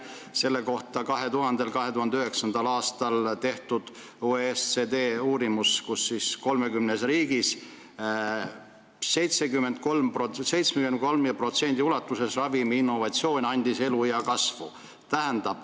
Selle kohta tehti 2000.–2009. aastal OECD uurimus, mille järgi 30 riigis 73% ulatuses andis ravimiinnovatsioon eluea kasvu.